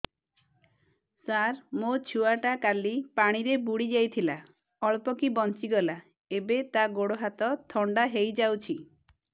ସାର ମୋ ଛୁଆ ଟା କାଲି ପାଣି ରେ ବୁଡି ଯାଇଥିଲା ଅଳ୍ପ କି ବଞ୍ଚି ଗଲା ଏବେ ତା ଗୋଡ଼ ହାତ ଥଣ୍ଡା ହେଇଯାଉଛି